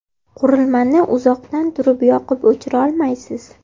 Qurilman iuzoqdan turib yoqib-o‘chira olmaysiz.